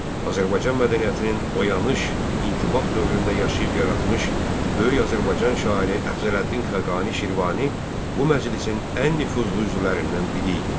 Azərbaycan mədəniyyətinin oyanış, intibah dövründə yaşayıb yaratmış böyük Azərbaycan şairi Əfzələddin Xəqani Şirvani bu məclisin ən nüfuzlu üzvlərindən biri idi.